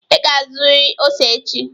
Ị ga-azụrịrị ose echi!